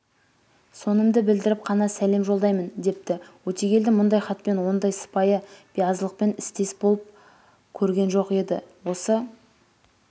сонымды білдіріп қана сәлем жолдаймын депті өтегелді мұндай хатпен ондай сыпайы биязылықпен істес боп көргенжоқеді осы